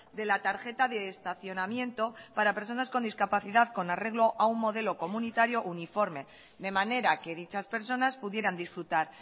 de la tarjeta de estacionamiento para personas con discapacidad con arreglo a un modelo comunitario uniforme de manera que dichas personas pudieran disfrutar